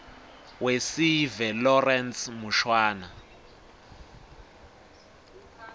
wesive lawrence mushwana